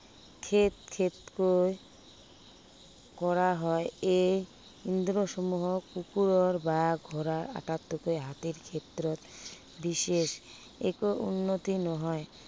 কৰা হয়। এই ইন্দ্ৰীয়সমূহক কুকুৰৰ বা ঘোঁৰাৰ আতাইককৈ হাতীৰ ক্ষেত্ৰত বিশেষ একো উন্নতি নহয়।